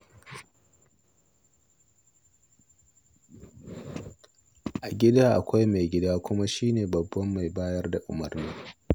A gida akwai maigida, kuma shi ne babban mai bayar da umarni.